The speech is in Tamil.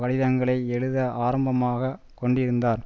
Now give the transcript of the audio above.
கடிதங்களை எழுத ஆரம்பமாகக் கொண்டிருந்தார்